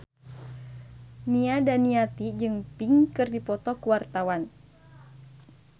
Nia Daniati jeung Pink keur dipoto ku wartawan